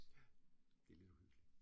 Ja, det lidt uhyggelig